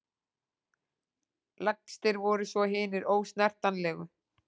Lægstir voru svo hinir ósnertanlegu.